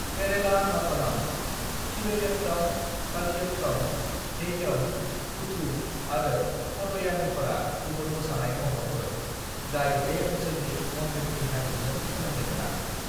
"केरेला नतनम, थिरयट्टम, कलियट्टम, थेय्यम, कूथू, आरो पदयानीफोरा गुबुन मोसानाय महरफोर, जाय बे ओनसोलनि मन्दिरनि हारिमुजों सोमोन्दो गोनां।"